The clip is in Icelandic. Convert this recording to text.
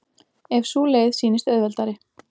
ef sú leið sýnist auðveldari.